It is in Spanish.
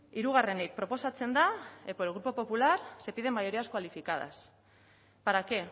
hirugarrenik proposatzen da por el grupo popular se piden mayorías cualificadas para qué